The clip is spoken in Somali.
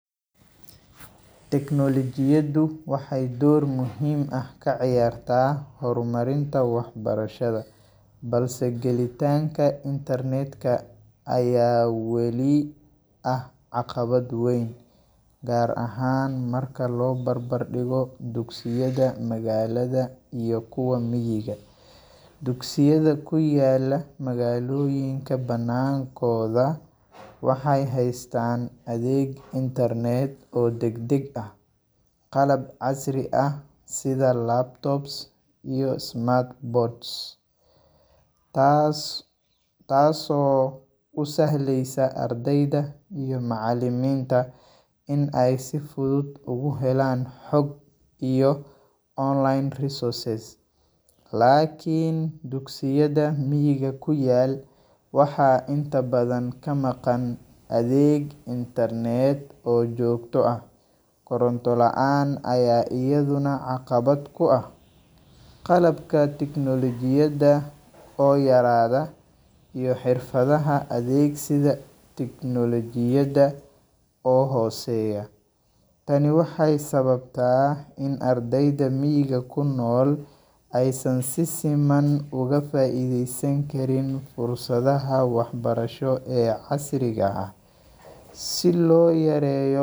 Tecnolojiyaadu waxee dor muhiim ah ka ciyarta hormarinta wax barashaada, balse galitanka Internet ka aya wali ah caqabaad weyn gar ahan marka lo bar bar digo dugsiyaada magalaada iyo kuwa miga, sugisyaada kuyala magaloyin kabanankodha waxee hastan adheg Internet ah oo dag dag ah qalab casri ah sitha laptops tas oo usahleysa ardeyda iyo macaliminta in ee si fudud ugu helan xog iyo online resources lakin dugsiyaada miiga kuyal waxaa inta badan ka maqan adheg [cs[Internet oo jogto ah, korontu laan aya ayadana aqawaad ku ah qalabka tecnolojiyaada oo yaradha iyo xirfaadaha adhegsiga tecnolojiyaada oo hoseya tani waxee sawabta in ardeyda miga kunol ee san si faidhesan karin fursaadaha wax barasho ee xasiliga ah si lo yareyo.